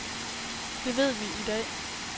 Det ved vi i dag.